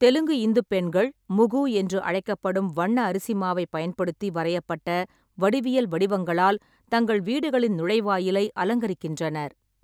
தெலுங்கு இந்து பெண்கள் முகு என்று அழைக்கப்படும் வண்ண அரிசி மாவைப் பயன்படுத்தி வரையப்பட்ட வடிவியல் வடிவங்களால் தங்கள் வீடுகளின் நுழைவாயிலை அலங்கரிக்கின்றனர்.